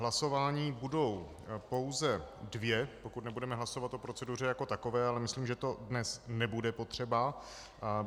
Hlasování budou pouze dvě, pokud nebudeme hlasovat o proceduře jako takové, ale myslím, že to dnes nebude potřeba.